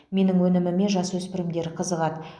менің өніміме жасөспірімдер қызығады